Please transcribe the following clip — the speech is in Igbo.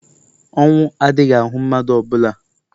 ọnwu adighi-ahu madu ọ bula